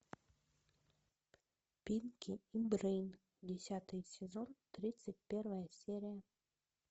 пинки и брейн десятый сезон тридцать первая серия